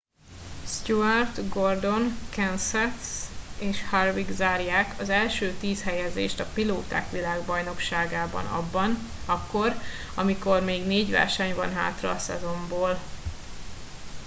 stewart gordon kenseth és harvick zárják az első tíz helyezést a pilóták világbajnokságában akkor amikor még négy verseny van hátra a szezonból